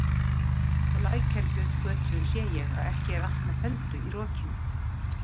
Á Lækjargötu sé ég að ekki er allt með felldu í rokinu.